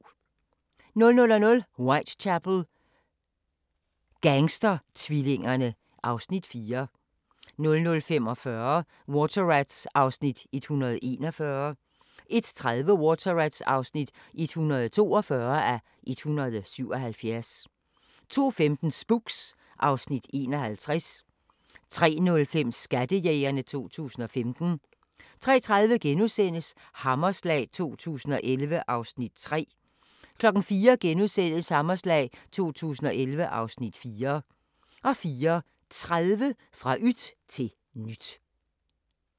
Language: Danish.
00:00: Whitechapel: Gangstertvillingerne (Afs. 4) 00:45: Water Rats (141:177) 01:30: Water Rats (142:177) 02:15: Spooks (Afs. 51) 03:05: Skattejægerne 2015 03:30: Hammerslag 2011 (Afs. 3)* 04:00: Hammerslag 2011 (Afs. 4)* 04:30: Fra yt til nyt